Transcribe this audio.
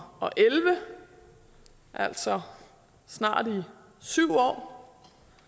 elleve altså snart i syv år